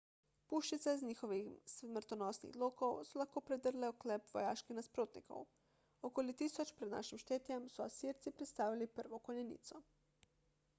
puščice z njihovih smrtonosnih lokov so lahko predrle oklep vojaških nasprotnikov okoli 1000 pr n š so asirci predstavili prvo konjenico